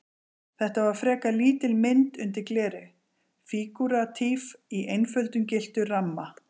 Þetta var frekar lítil mynd undir gleri, fígúratíf í einföldum gylltum ramma.